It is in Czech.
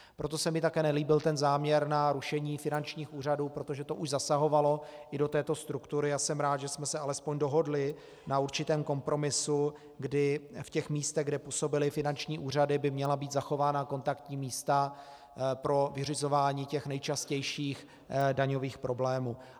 Proto se mi také nelíbil ten záměr na rušení finančních úřadů, protože to už zasahovalo i do této struktury, a jsem rád, že jsme se alespoň dohodli na určitém kompromisu, kdy v těch místech, kde působily finanční úřady, by měla být zachována kontaktní místa pro vyřizování těch nejčastějších daňových problémů.